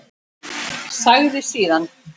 Sagði síðan: